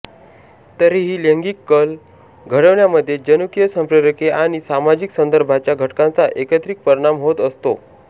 तरीही लैंगिक कल घडवण्यामधे जनुकीय संप्रेरके आणि सामाजिक संदर्भांच्या घटकांचा एकत्रित परिणाम होत असतो